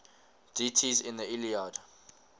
deities in the iliad